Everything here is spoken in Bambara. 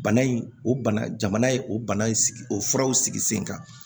Bana in o bana jamana ye o bana in sigi o furaw sigi sen kan